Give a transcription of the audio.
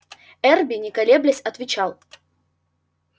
эрби не колеблясь отвечал